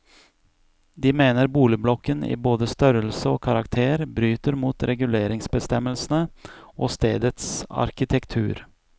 De mener boligblokken i både størrelse og karakter bryter mot reguleringsbestemmelsene og stedets arkitektur.